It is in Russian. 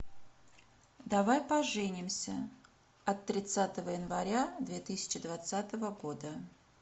давай поженимся от тридцатого января две тысячи двадцатого года